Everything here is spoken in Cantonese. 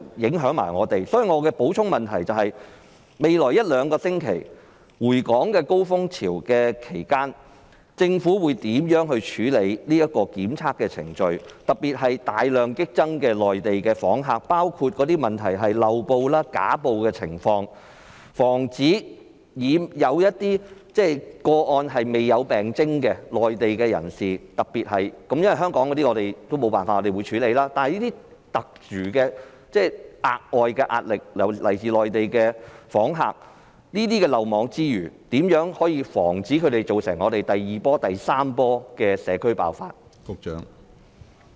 所以，我的補充質詢是，在未來一兩星期市民回港的高峰期，政府會如何處理檢測程序？尤其是內地訪客激增，當中的問題包括漏報、虛報等情況，有些個案涉及未有病徵的內地人士——若然是香港人，沒有辦法，我們必須處理——但這些是來自內地訪客的特殊、額外的壓力，對於這些漏網之魚，如何可以防止他們在香港造成第二波或第三波的社區爆發？